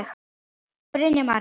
Brynja María.